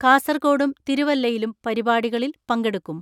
കാസർകോടും തിരുവല്ലയിലും പരിപാടികളിൽ പങ്കെടുക്കും.